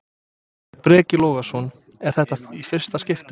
Breki Logason: Er þetta í fyrsta skiptið?